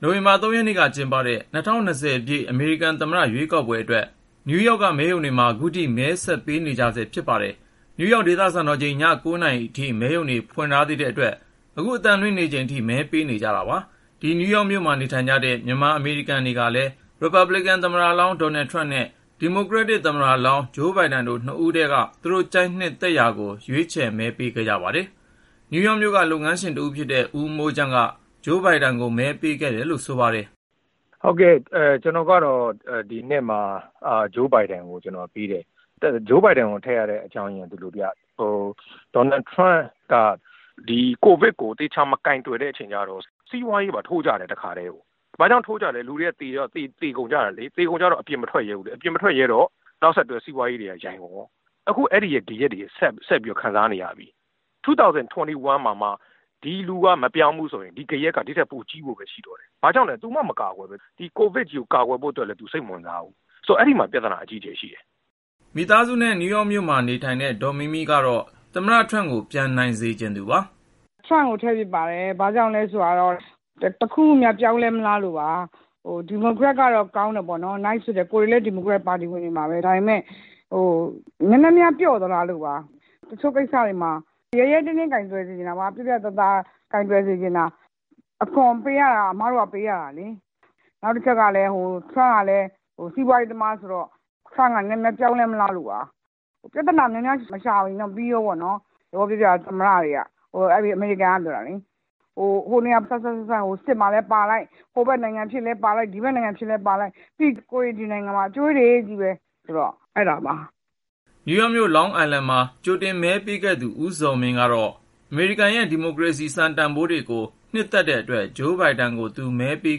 နိုဝင်ဘာ ၃ ရက်နေ့က ကျင်းပတဲ့ ၂၀၂၀ အမေရိကန်သမ္မတ ရွေးကောက်ပွဲအတွက် နယူးယောက်က မဲရုံတွေမှာ ခုထိ မဲဆက်ပေးနေကြဆဲ ဖြစ်ပါတယ်။ နယူးယောက် ဒေသစံတော်ချိန် ည ၉ နာရီအထိ မဲရုံတွေ ဖွင့်ထားတဲ့အတွက် အခု အသံလွှင့်နေချိန်ထိ မဲပေးနေကြတာပါ။ နယူးယောက်မြို့မှာ နေကြတဲ့ မြန်မာအမေရိကန်တွေကလည်း ရီပတ်ဘလစ်ကန် သမ္မတလောင်း ဒေါ်နယ်ထရမ့် နဲ့ ဒီမိုကရက်တစ် သမ္မတလောင်း ဂျိုးဘိုင်ဒန် တို့ ၂ ဦးထဲက သူတို့ ကြိုက်နှစ်သူကို ရွေးချယ် မဲပေးခဲ့ကြပါတယ်။ နယူးယောက်မြို့က လုပ်ငန်းရှင်တဦးဖြစ်တဲ့ ဦးမိုးချမ်းက ဂျိုးဘိုင်ဒန်ကို မဲပေးခဲ့တယ်လို့ ဆိုပါတယ်။ " ကျနော်ကတော့ ဒီနှစ်မှာ ဂျိုးဘိုင်ဒန်ကို မဲပေးပါတယ်။ ဂျိုးဘိုင်ဒန်ကို မဲထည့်ရတဲ့ အကြောင်းက ဒီလိုဗျ.. ဒေါ်နယ်ထရမ့်က ဒီ ကိုဗစ်ကို သေချာ မကိုင်တွယ်တဲ့ အချိန်ကျတော့ စီးပွားရေးပါ ထိုးကျတယ် တခါထဲ။ ဘာကြောင့် ထိုးကျလဲဆိုတော့ လူတွေက သေကုန်ကြတယ်လေ ၊ သေတော့ အပြင်မထွက်ရဲကြတော့ဘူး ၊ အပြင် မထွက်ရဲတော့ နောက်ဆက်တွဲအဖြစ် စီးပွားပါ ယိုင်ကုန်ရော အခုတော့ အဲဒီရဲ့ ဂယက်တွေကို ဆက်ပြီး ခံစားနေရပြီ။ ၂၀၂၁ မှာမှ ဒီသမ္မတက မပြောင်းဘူးဆိုရင် အဲဒီဂယက်က ဒီထက်ပိုကြီးဖို့ပဲ ရှိတော့တယ်။ ဘာကြောင့်လဲ - သူမှ စိတ်မဝင်စားပဲ ၊ ဆိုတော့ အဲဒီမှာတင် ပြသနာရှိနေတယ် ။ " မိသားစုနဲ့ နယူးယောက်မြို့မှာ နေထိုင်တဲ့ ဒေါ်မီးမီးကတော့ သမ္မတ ထရမ့်ကို ပြန် နိုင်စေချင်သူပါ ။ " ထရမ့်ကို မဲထည့်ဖြစ်ပါတယ်။ ဘာကြောင့်လဲဆိုတော့ တခုခုများ ပြောင်းလဲလားမလို့ပါ ။ ဒီမိုကရက်ကတော့ ကောင်းပါတယ် Nice ဖြစ်တာပေါ့နော် ကိုယ်တွေလည်း ဒီမိုကရက် ပါတီဝင်တွေပါပဲ ဒါပေမဲ့ ဒီမိုကရက်က နည်းနည်းများ ပျော့သလားလို့ပါ။ တချို့ကိစ္စတေ ွမှာ ရဲရဲတင်းတင်း ပြတ်ပြတ်သားသား ကိုင်တွယ် စေချင်တာပေါ့နော်။ အခွန်ပေးနေရတာက ကျမတို့က ပေးနေရတာလေ ။ နောက်တချက်ကလည်း ထရမ့်က စီးပွားရေးသမားဆိုတော့ ထရမ့်က နည်းနည်းပြောင်းလဲ မလားလို့ပါ။ အမေရိကန် သမ္မတတွေက ပြဿနာ များများ မရှာရင်ပြီးရောပေါ့နော် ဥပမာ စစ်မှာလည်းပါလိုက်၊ ဟိုဖက်နိုင်ငံဖြစ်လည်း ပါလိုက် ဒီဖက်နိုင်ငံဖြစ်လည်း ပါလိုက်နဲ့ ပြီးရင် ကိုယ်တွေ ဒီနိုင်ငံမှာ အကြွေးတွေချည်းပဲဆိုတော့ အဲဒါကြောင့်ပါ။ " နယူးယောက်မြို့ Long Island မှာ ကြိုတင်မဲ သွားပေးခဲ့သူ ဦးဇော်မင်းကတော့ အမေရိကန်ရဲ့ ဒီမိုကရေစီ စံတန်ဖိုးတွေကို နှစ်သက်တဲ့အတွက် ဂျိုးဘိုင်ဒန်ကို သူ မဲပေး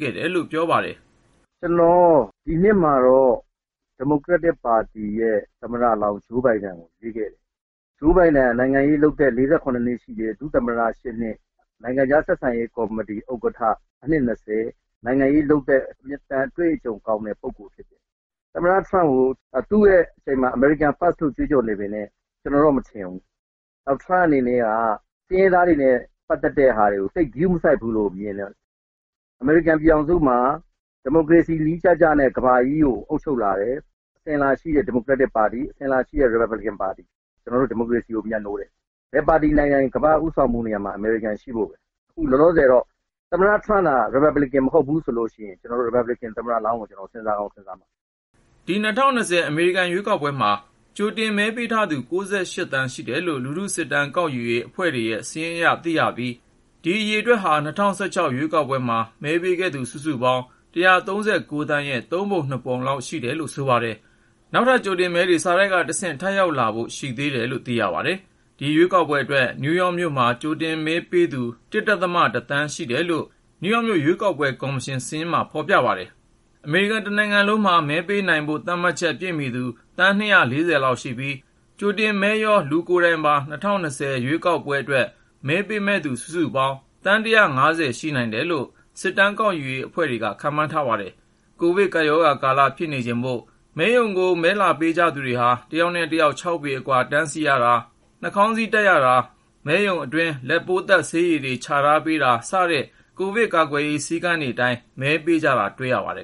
ခဲ့တယ်လို့ ပြောပါတယ်။ " ကျနော် ဒီနှစ်မှာတော့ ဒီမိုကရက်တစ်ပါတီရဲ့ သမ္မတလောင်း ဂျိုးဘိုင်ဒန်ကို မဲပေးခဲ့တယ်။ ဂျိုးဘိုင်ဒန်ရဲ့ နိုင်ငံရေးလုပ်သက် ၄၇ နှစ်မှာ ဒုသမ္မတသက်တမ်း ၈ နှစ်၊ နိုင်ငံခြားဆက်ဆံရေး ကော်မတီ ဥက္ကဌအဖြစ်နဲ့က အနှစ် ဆိုတော့ နိုင်ငံရေးလုပ်သက် အတွေ့အကြုံ ကောင်းတဲ့ပုဂ္ဂိုလ် ဖြစ်တယ်။ သမ္မတ ထရမ့်က သူ့လက်ထက်မှာ အမေရိကန်သာ ဦးစားပေးလို့ ကြွေးကြော်နေပေမယ့် ကျနော်တော့ အဲလို မထင်ဘူး။ နောက် ထရမ့်အနေနဲ့က ဆင်းရဲသားတွေနဲ့ ပတ်သက်တဲ့ဟာတွေကို သိပ်ဂရုမစိုက်ဘူးလို့ မြင်တယ်။ အမေရိကန်ပြည်ထောင်စုမှာ အစဉ်အလာရှိတဲ့ ဒီမိုကရက်တစ်ပါတီ ၊ အစဉ်အလာရှိတဲ့ ရီပတ်ဘလစ်ကန်ပါတီတွေက ဒီမိုကရေစီ နည်းကျကျနဲ့ ကမ္ဘာကြီးကို ဦးဆောင်ခဲ့ကြတာ။ ကျနော်တို့က ဒီမိုကရေစီကို မြတ်နိုးတာ ။ ဘယ်ပါတီနိုင်နိုင် ကမ္ဘာ့ ဦးဆောင်မှုနေရာမှာ အမေရိကန် ရှိသင့်တယ်။ အခုလောလောဆယ်မှာတော့ သမ္မတ ထရမ့်သာ ရီပတ်ဘလစ်ကန်အနေနဲ့ ဝင်ရွေးတာမျိုးမဟုတ်ပဲ သူ့နေရာမှာ အခြားတယောက်သာဆိုရင် ကျနော်တို့က ရီပတ်ဘလစ်ကန် သမ္မတလောင်းကို စဉ်းစားကောင်း စဉ်းစားရလိမ့်မယ်။ " ဒီ ၂၀၂၀ အမေရိကန် ရွေးကောက်ပွဲမှာ ကြိုတင်မဲပေးထားသူ သန်း ရှိတယ်လို့ လူထု စစ်တမ်းကောက်ယူရေး အဖွဲ့တွေရဲ့ စာရင်းအရ သိရပြီး ဒီအရေအတွက်ဟာ ၂၀၁၆ ရွေးကောက်ပွဲမှာ မဲပေးခဲ့သူ စုစုပေါင်း သန်းရဲ့ သုံးပုံနှစ်ပုံလောက် ရှိတယ်လို့ဆိုပါတယ်။ နောက်ထပ် ကြိုတင်မဲတွေ စာတိုက်ကတဆင့် ထပ်ရောက်လာဖို့ ရှိသေးတယ်လို့ သိရပါတယ်။ ဒီ ရွေးကောက်ပွဲအတွက် နယူးယောက်မြို့မှာ ကြိုတင်မဲ ပေးသူ သန်းကျော် ရှိတယ်လို့ နယူးယောက်မြို့ ရွေးကောက်ပွဲ ကော်မရှင် စာရင်းမှာ ဖေါ်ပြပါတယ်။ အမေရိကန်တနိုင်ငံလုံးမှာ မဲပေးနိုင်ဖို့ သတ်မှတ်ချက် ပြည့်မီသူ သန်း လောက်ရှိပြီး ကြိုတင်မဲတွေရော ၊ လူကိုယ်တိုင်ပါ ၂၀၂၀ ရွေးကောက်ပွဲအတွက် မဲပေးမယ့်သူ စုစုပေါင်း သန်း ရှိနိုင်တယ်လို့ စစ်တမ်းကောက်ယူရေး အဖွဲ့တွေက ခန့်မှန်းထားပါတယ်။ ကိုဗစ်ကပ်ရောဂါကာလ ဖြစ်နေချိန်မို့ မဲရုံကို မဲလာပေးကြ သူတွေဟာ တယောက်နဲ့တယောက် ပေအကွာ တန်းစီရတာ ၊ နှာခေါင်းစည်းတပ်ရတာ ၊ မဲရုံအတွင်းမှာ လက်ပိုးသတ်ဆေးရည်တွေ ချထားပေးတာ စတဲ့ ကိုဗစ်ကာကွယ်ရေး စည်းကမ်းတွေအတိုင်း မဲပေးကြတာ တွေ့ရပါတယ်